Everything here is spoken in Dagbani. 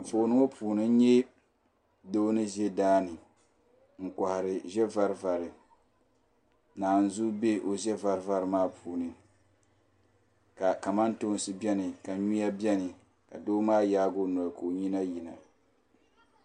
Anfooni ŋɔ puuni n nya doo ni ʒɛ daani n kohari ʒe varivari naazuu be o ʒe varivari maa puuni ka kamantoosi biɛni ka nyuya biɛni ka doo maa yaagi o noli ka nyina yina.